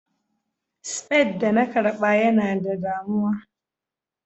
spade da na karba Yana da damuwa.